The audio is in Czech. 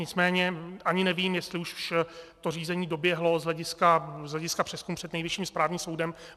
Nicméně ani nevím, jestli už to řízení doběhlo z hlediska přezkumu před Nejvyšším správním soudem.